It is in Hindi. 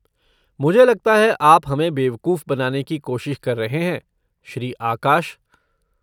मुझे लगता है आप हमें बेवकूफ बनाने की कोशिश कर रहे हैं, श्री आकाश।